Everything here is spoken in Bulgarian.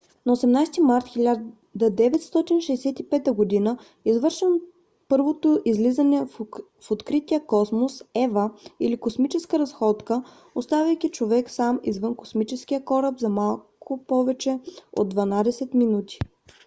на 18 март 1965 г. извършено първото излизане в открития космос eva или космическа разходка оставайки човек сам извън космическия кораб за малко повече от дванадесет минути